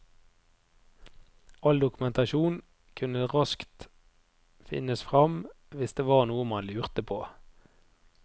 All dokumentasjon kunne raskt finnes frem hvis det var noe man lurte på.